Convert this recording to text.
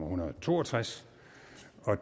hundrede og to og tres